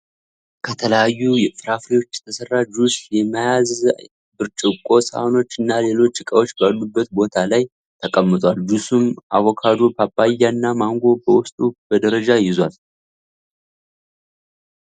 ከተለያዩ ፍራፍሬዎች የተሰራ ጁስ የያዘ ብርጭቆ ሳህኖች እና ሌሎች እቃዎች ባሉበት ቦታ ላይ ተቀምጧል። ጁሱም አቮካዶ፣ ፓፓያ እና ማንጎ በዉስጡ በደረጃ ይዟል።